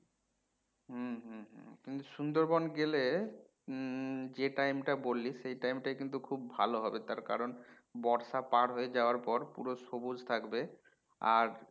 হম হম হম কিন্তু সুন্দরবন গেলে হম যে time টা বললি সেই time টাই কিন্তু খুব ভালো হবে তার কারণ বর্ষা পার হয়ে যাওয়ার পর পুরো সবুজ থাকবে আর